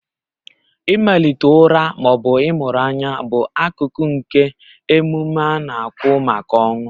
Ịmalite ụra ma ọ bụ ịmụrụ anya bụ akụkụ nke emume a na-akwụ maka ọnwụ